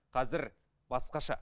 қазір басқаша